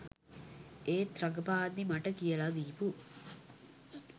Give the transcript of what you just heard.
ඒත් රඟපාද්දි මට කියලා දීපු